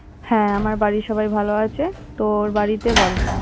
হ্যাঁ আমার বাড়ির সবাই ভালো আছে তোর বাড়িতে বল